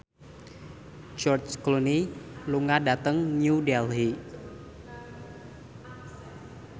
George Clooney lunga dhateng New Delhi